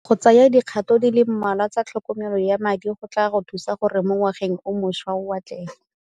Go tsaya dikgato di le mmalwa tsa tlhokomelo ya madi go tla go thusa gore mo ngwageng o mošwa o atlege.